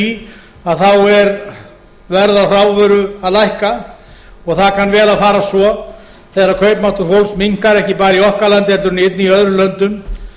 í að þá er verð á hrávöru að lækka og það kann vel að fara svo þegar kaupmáttur fólks minnkar ekki bara í okkar landi heldur einnig í öðrum löndum